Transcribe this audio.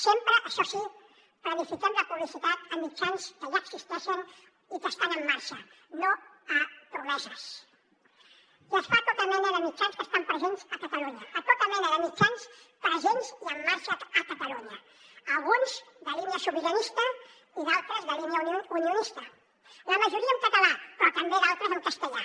sempre això sí planifiquem la publicitat a mitjans que ja existeixen i que estan en marxa no a promeses i es fa a tota mena de mitjans que estan presents a catalunya a tota mena de mitjans presents i en marxa a catalunya alguns de línia sobiranista i d’altres de línia unionista la majoria en català però també d’altres en castellà